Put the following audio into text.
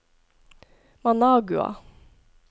Managua